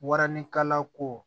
Waranikalako